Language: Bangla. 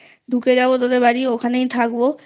ঢুকে যাব তোদের বাড়ি ওখানে থাকবো